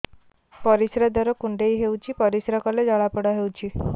ପରିଶ୍ରା ଦ୍ୱାର କୁଣ୍ଡେଇ ହେଉଚି ପରିଶ୍ରା କଲେ ଜଳାପୋଡା ହେଉଛି